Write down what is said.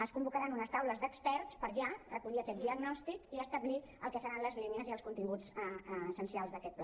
es convocaran unes taules d’experts per ja recollir aquest diagnòstic i per establir el que seran les línies i els continguts essencials d’aquest pla